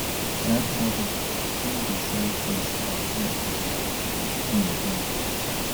that barber still dey sell things like hair oil and cream join